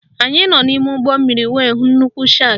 Anyị nọ n'ime ụgbọmmiri wee hụ nnukwu shakị